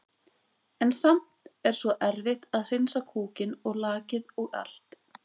En samt er svo erfitt að hreinsa kúkinn og lakið og allt.